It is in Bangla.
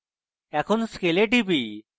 এখন scale এ টিপি